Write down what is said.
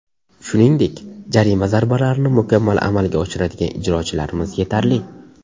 Shuningdek, jarima zarbalalarini mukammal amalga oshiradigan ijrochilarimiz yetarli.